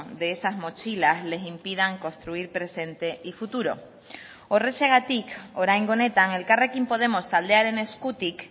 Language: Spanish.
de esas mochilas les impidan construir presente y futuro horrexegatik oraingo honetan elkarrekin podemos taldearen eskutik